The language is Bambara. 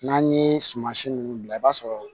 N'an ye suman si ninnu bila i b'a sɔrɔ